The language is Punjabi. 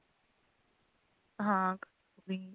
ਹਾਂ ਵੀ